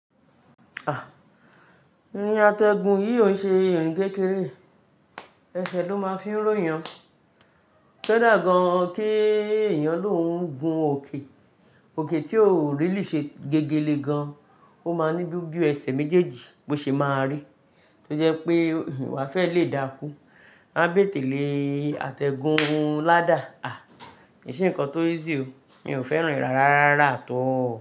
Irin àtẹ̀gùn yìí ò ṣe irin kékeré, ẹsẹ̀ ló máa ń fí ró yan. Kodá gan-an kí èèyàn lóun gun òkè, òkè tí ó ò really ṣe gégelé gan-an. Ó máa ní bí ó bí ẹsẹ̀ méjèèjì bó ṣe máa rí. Tó jẹ́ pé wà fẹ́ lè dákú. A bé tèlè àtẹ̀gùn ládà. Ko nṣe nǹkan tó easy o, mi ò fẹ́ràn rárá rárá at all.